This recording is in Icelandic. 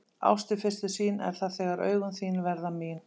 Ást við fyrstu sýn er það þegar augun þín verða mín.